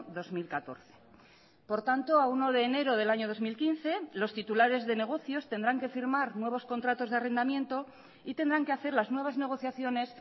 dos mil catorce por tanto a uno de enero del año dos mil quince los titulares de negocios tendrán que firmar nuevos contratos de arrendamiento y tendrán que hacer las nuevas negociaciones